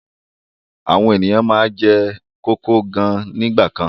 Àwọn ènìyàn máa ń jẹ kókò gan nígbà kan.